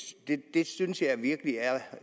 det synes jeg virkelig er